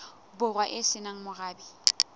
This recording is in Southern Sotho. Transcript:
borwa e se nang morabe